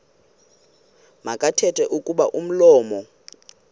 makathethe kuba umlomo